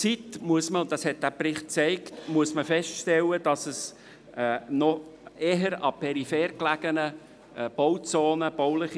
Gemäss Bericht findet die bauliche Entwicklung eher an peripher gelegenen Bauzonen statt.